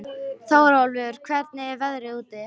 Þórólfur, hvernig er veðrið úti?